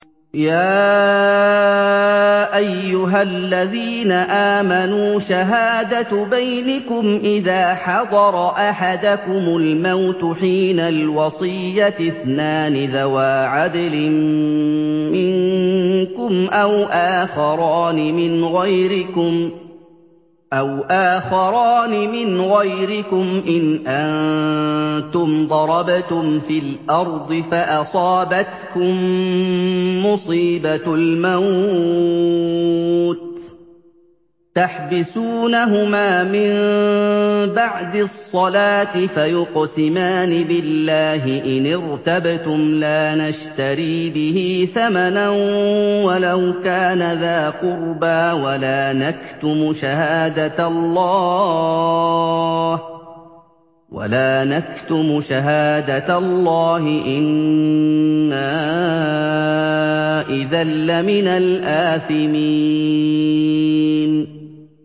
يَا أَيُّهَا الَّذِينَ آمَنُوا شَهَادَةُ بَيْنِكُمْ إِذَا حَضَرَ أَحَدَكُمُ الْمَوْتُ حِينَ الْوَصِيَّةِ اثْنَانِ ذَوَا عَدْلٍ مِّنكُمْ أَوْ آخَرَانِ مِنْ غَيْرِكُمْ إِنْ أَنتُمْ ضَرَبْتُمْ فِي الْأَرْضِ فَأَصَابَتْكُم مُّصِيبَةُ الْمَوْتِ ۚ تَحْبِسُونَهُمَا مِن بَعْدِ الصَّلَاةِ فَيُقْسِمَانِ بِاللَّهِ إِنِ ارْتَبْتُمْ لَا نَشْتَرِي بِهِ ثَمَنًا وَلَوْ كَانَ ذَا قُرْبَىٰ ۙ وَلَا نَكْتُمُ شَهَادَةَ اللَّهِ إِنَّا إِذًا لَّمِنَ الْآثِمِينَ